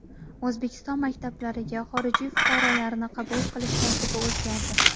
O‘zbekiston maktablariga xorijiy fuqarolarni qabul qilish tartibi o‘zgardi.